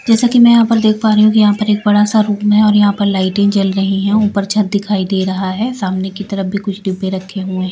जैसा कि मैं यहां पर देख पा रही हूं कि यहां पर एक बड़ा सा रूम है और यहां पर लाइटें जल रही है ऊपर छत दिखाई दे रहा है सामने की तरफ भी कुछ डिब्बे रखे हुए हैं।